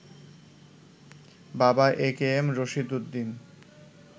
বাবা একেএম রশিদ উদ্দিন